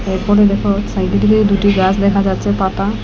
এই কোনে দেখো সাইডের দিকে দুটি গাস দেখা যাচ্ছে পাতা।